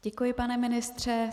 Děkuji, pane ministře.